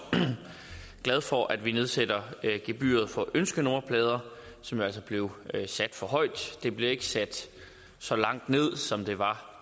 glad for at vi nedsætter gebyret for ønskenummerplader som jo altså blev sat for højt det bliver ikke sat så langt ned som det var